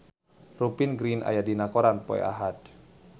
Rupert Grin aya dina koran poe Ahad